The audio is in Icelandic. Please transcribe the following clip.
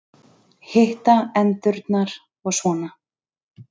Hitta endurnar og svona.